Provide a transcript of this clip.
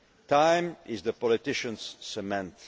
package. Time is the politician's